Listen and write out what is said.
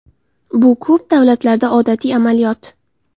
Bu ko‘p davlatlarda odatiy amaliyot.